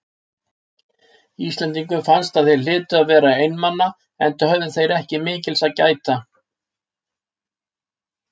Íslendingum fannst að þeir hlytu að vera einmana, enda höfðu þeir ekki mikils að gæta.